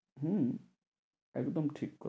হম একদম ঠিক।